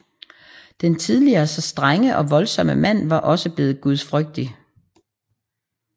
Den tidligere så strenge og voldsomme mand var også bleven gudfrygtig